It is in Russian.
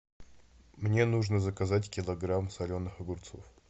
мне нужно заказать килограмм соленых огурцов